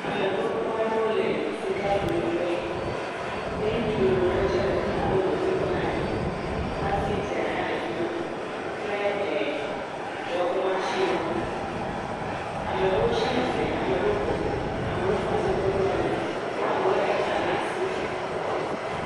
Ame gbogboa ɖewo le sika do ku ƒe ye ŋutsu lolo tse le fi ma abe dɔdzikpɔla ene hafi dzea hã le efi ma kple e… dɔwɔƒe masiniwo. Ame ɖewo tsi tsia tsitre eye ama ɖewo bɔbɔ eye ame ɖewo kɔ asi kɔ ɖo ali eye ame aɖewo le hepani ɖe asi.